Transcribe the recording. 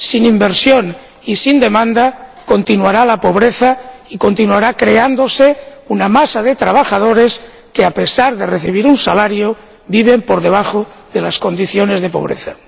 Sin inversión y sin demanda continuará la pobreza y continuará creándose una masa de trabajadores que, a pesar de recibir un salario, viven por debajo del umbral de pobreza.